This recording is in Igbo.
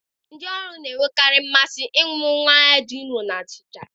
Ndị ọrụ na-enwekarị mmasị ịṅụ mmanya dị nro na achịcha.